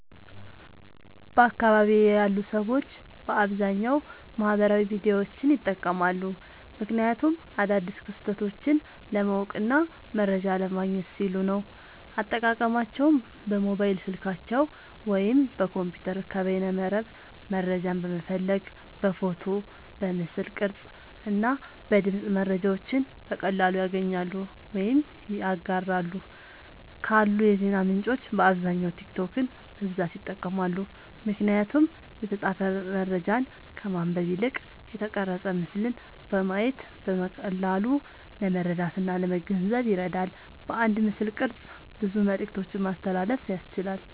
በአካባቢየ ያሉ ሰዎች በአብዛኛዉ ማህበራዊ ሚዲያዎችን ይጠቀማሉ። ምክንያቱም አዳዲስ ክስተቶችን ለማወቅና መረጃ ለማግኘት ሲሉ ነዉ። አጠቃቀማቸዉም በሞባይል ስልካቸዉ ወይም በኮምፒዉተር ከበይነመረብ መረጃን በመፈለግ በፎቶ፣ በምስል ቅርጽ እና በድምጽ መረጃዎችን በቀላሉ ያገኛሉ ወይም ያጋራሉ። ካሉ የዜና ምንጮች በአብዛኛዉ ቲክቶክን በብዛት ይጠቀማሉ። ምክንያቱም የተጻፈ መረጃን ከማንበብ ይልቅ የተቀረጸ ምስልን በማየት በቀላሉ ለመረዳትእና ለመገንዘብ ይረዳል። በአንድ ምስልቅርጽ ብዙ መልክቶችን ማስተላለፍ ያስችላል።